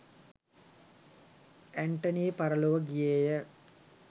ඇන්ටනී පරලොව ගියේය.